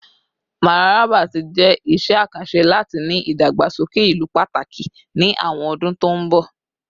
Mararaba ti jẹ iṣẹ akanṣe lati ni idagbasoke ilu pataki ni awọn ọdun to nbọ